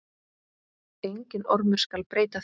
Enginn ormur skal breyta því.